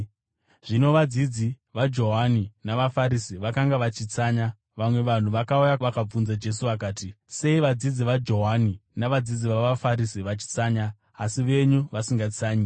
Zvino vadzidzi vaJohani navaFarisi vakanga vachitsanya. Vamwe vanhu vakauya vakabvunza Jesu vakati, “Sei vadzidzi vaJohani navadzidzi vavaFarisi vachitsanya, asi venyu vasingatsanyi?”